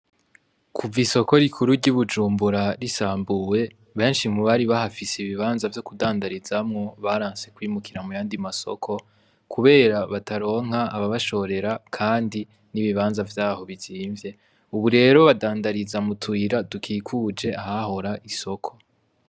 Kuva isoko rikuru ry'i Bujumbura risambuwe, benshi mubari bahafise ibibanza vyo kudandarizamwo baranse kwimukira mu yandi masoko, kubera bataronka ababashorera kandi n'ibibanza vyaho bizimvye. Ubu rero badandariza mu tuyira dukikuje isoko.